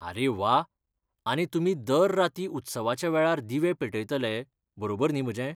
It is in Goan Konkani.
आरे वा. आनी तुमी दर राती उत्सवाच्या वेळार दिवे पेटयतले, बरोबर न्ही म्हजें?